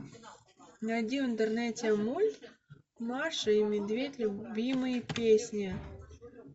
найди в интернете мульт маша и медведь любимые песни